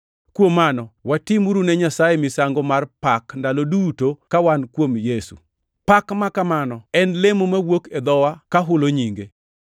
Kuom mano watimuru ne Nyasaye misango mar pak ndalo duto ka wan kuom Yesu. Pak makamano en olemo mawuok e dhowa ka hulo nyinge.